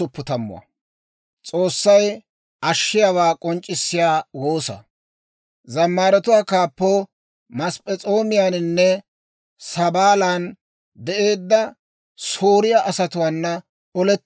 Abeet S'oossaw, neeni nuuna aggaada; nuuna mentsaadda. Neeni nuuna hank'k'ettaadda; shin ha"i nuukko simma.